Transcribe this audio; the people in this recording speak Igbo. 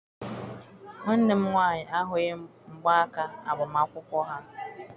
Nwanne m nwaanyị ahụghị mgba aka agbamakwụkwọ ha.